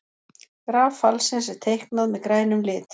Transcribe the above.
Graf fallsins er teiknað með grænum lit.